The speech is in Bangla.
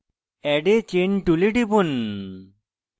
add a chain tool টিপুন